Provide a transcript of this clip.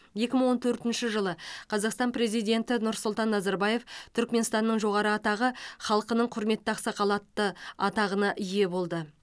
екі мың он төртінші жылы қазақстан президенті нұрсұлтан назарбаев түрікменстанның жоғары атағы халқының құрметті ақсақалы атты атағына ие болды